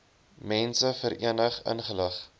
mense verenig ingelig